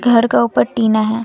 घर का ऊपर टीना हैं।